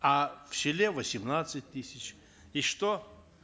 а в селе восемнадцать тысяч и что